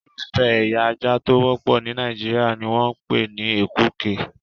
Irúfẹ́ ẹ̀ya ajá tó wọ́pọ̀ ní Nàìjíríà ni wọ́n ń pè ní Èkúke.